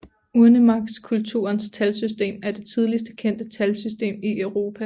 Urnemarkskulturens talsystem er det tidligst kendte talsystem i Europa